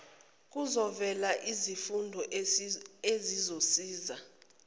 kuzovela izifundo ezizosiza